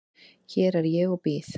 Hér er ég og bíð.